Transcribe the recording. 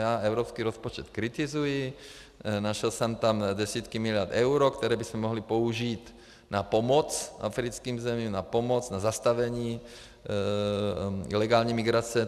Ano, evropský rozpočet kritizuji, našel jsem tam desítky miliard eur, které bychom mohli použít na pomoc africkým zemím, na pomoc, na zastavení ilegální migrace.